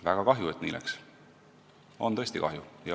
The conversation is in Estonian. Väga kahju, et nii läks, sellest on tõesti kahju.